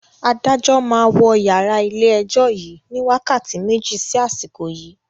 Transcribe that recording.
Adájọ́ máa wọ yàrá ilé ẹjọ́ yìí ni wákàtí méjì sí àsìkò yii